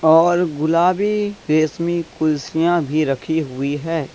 और गुलाबीरेशमी कुर्सियां भी रखी हुई है।